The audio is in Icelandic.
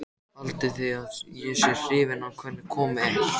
Haldið þið að ég sé hrifinn af hvernig komið er?